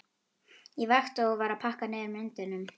Ég vakti og var að pakka niður myndunum.